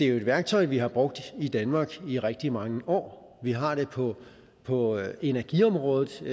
er et værktøj vi har brugt i danmark i rigtig mange år vi har det på på energiområdet som